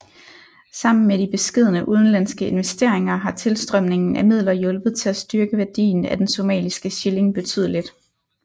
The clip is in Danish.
Sammen med de beskedne udenlandske investeringer har tilstrømningen af midler hjulpet til at styrke værdien af den somaliske shilling betydeligt